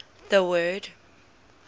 the word